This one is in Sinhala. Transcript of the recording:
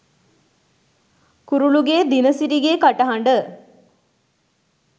කුරුලුගේ දිනසිරිගේ කටහඬ